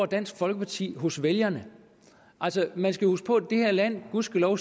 dansk folkeparti får hos vælgerne man skal huske på at det her land gudskelov